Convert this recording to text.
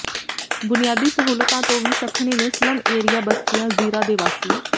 ਬੁਨਿਆਦੀ ਸਹੂਲਤਾਂ ਤੋਂ ਵੀ ਸੱਖਣੇ ਨੇ ਸਲੱਮ ਏਰੀਆ ਬਸਤੀਆਂ ਜ਼ੀਰਾ ਦੇ ਵਾਸੀ